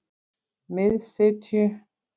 Miðsitju